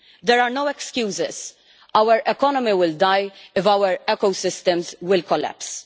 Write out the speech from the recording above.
There are no excuses our economy will die if our ecosystems collapse.